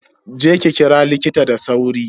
Je ki kira likita da sauri.